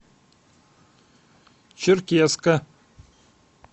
черкесска